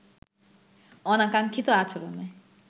অনাকাঙ্ক্ষিত আচরণে